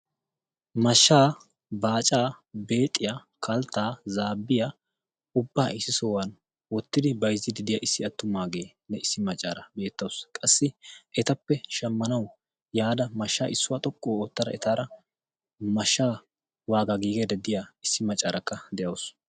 Mashshaa baacaa beexiyaa kalttaa zaabbiyaa ubbaa issi sohuwan oottidi baizzi didiya issi attumaageenne issi maccaara beettausu qassi etappe shammanawu yaada mashshaa issuwaa xoqqu oottada etaara mashshaa waagaa giigeeda diya issi maccaarakka de'ausu.